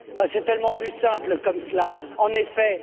C'est tellement plus simple comme cela, en effet.